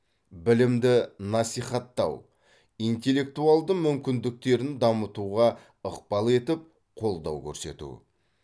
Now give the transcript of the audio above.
білімді насихаттау интеллектуалды мүмкіндіктерін дамытуға ықпал етіп қолдау көрсету